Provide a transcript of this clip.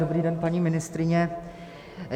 Dobrý den, paní ministryně.